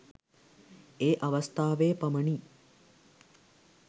ඒ අවස්ථාවේ පමණි.